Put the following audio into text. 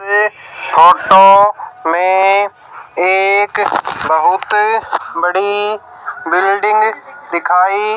auto में एक बहुत बड़ी बिल्डिंग दिखाई--